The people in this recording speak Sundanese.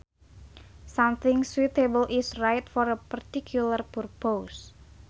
Something suitable is right for a particular purpose